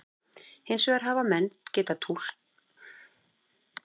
Hins vegar hafa menn getað líkt eftir litrófi norðurljósanna í tilraunastofum.